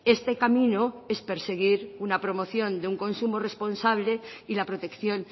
este camino es perseguir una promoción de un consumo responsable y la protección